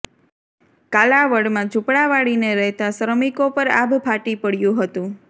કાલાવડમાં ઝૂંપડાવાળીને રહેતા શ્રમિકો પર આભ ફાટી પડ્યું હતું